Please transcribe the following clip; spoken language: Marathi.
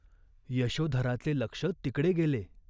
यशोधराचे लक्ष तिकडे गेले.